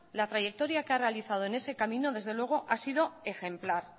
la trayectoria que ha realizado en ese camino desde luego ha sido ejemplar